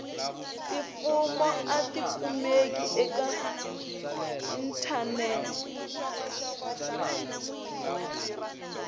tifomo a tikumeki eka inthanete